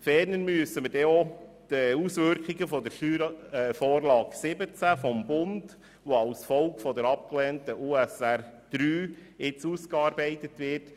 Ferner müssen wir schlussendlich auch die Auswirkungen der (SV17) des Bundes berücksichtigen, die als Folge der abgelehnten USR III gegenwärtig ausgearbeitet wird.